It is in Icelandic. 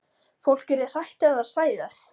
Fólk yrði hrætt ef það sæi þær.